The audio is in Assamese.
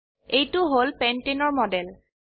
এইটো হল পেণ্টানে পেন্টেন এৰ মডেল